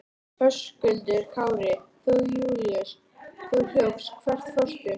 Höskuldur Kári: Þú Júlíus, þú hljópst, hvert fórstu?